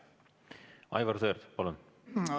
Aivar Sõerd, palun!